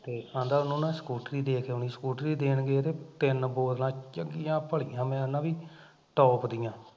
ਤੇ ਐਂਦਾ ਉਹਨੂੰ ਨਾ ਸਕੂਟਰੀ ਦੇ ਕੇ ਆਉਣੀ ਸਕੂਟਰੀ ਦੇਣ ਗਏ ਤੇ ਤਿੰਨ ਬੋਤਲਾਂ ਚੰਗੀਆ ਭਲੀਆਂ ਮੈਂ ਕਹਿੰਦਾ ਬਈ top ਦੀਆ